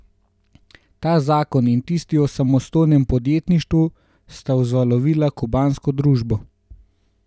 Ta zakon in tisti o samostojnem podjetništvu sta vzvalovila kubansko družbo.